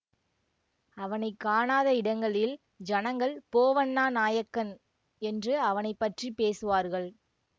அவனை காணாத இடங்களில் ஜனங்கள் போவன்னா நாயக்கன் என்று அவனை பற்றி பேசுவார்கள்